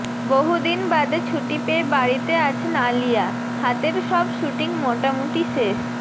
বহুদিন বাদে ছুটি পেয়ে বাড়িতে আছেন আলিয়া হাতের সব শ্যুটিং মোটামুটি শেষ